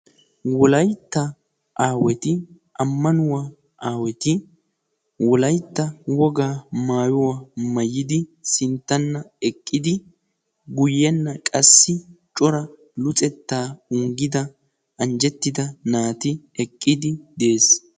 wolaytta aawati ammanuwaa aawati wolaytta wogaa maayuwaa mayidi sinttanna eqqidi guyyenna qassi cora luxettaa unggida anjjettida naati eqqidi de'ees.